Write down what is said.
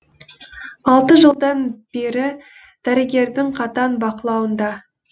алты жылдан бері дәрігердің қатаң бақылауында